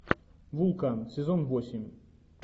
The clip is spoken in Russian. вулкан сезон восемь